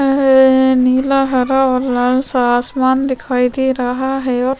एहहह नीला हरा और लाल सा आसमान दिखाई दे रहा है।